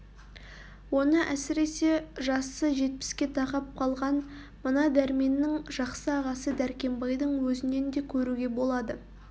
оны әсіресе жасы жетпіске тақап қалған мына дәрменнің жақсы ағасы дәркембайдың өзінен де көруге болады